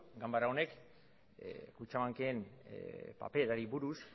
ganbara honek kutxabanken paperari buruz